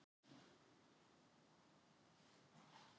Leikur liðanna var ansi skrautlegur